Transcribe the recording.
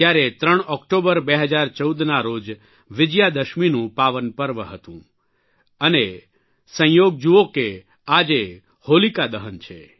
ત્યારે 3 ઓકટોબર 2014ના રોજ વિજયદશમીનું પાવન પર્વ હતું અને સંજોગ જુઓ કે આજે હોલિકા દહન છે